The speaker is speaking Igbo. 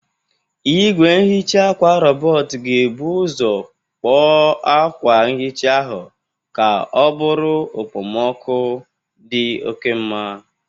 Igwe nhicha akwa robotu ga-ebu ụzọ kpoo akwa nhicha ahụ ka ọ bụrụ okpomọkụ dị oke mma.